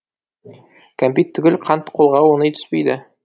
кәмпит түгіл қант қолға оңай түспейді